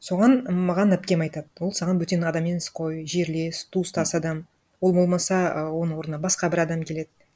соған маған әпкем айтады ол саған бөтен адам емес қой жерлес туыстас адам ол болмаса а оның орнына басқа бір адам келеді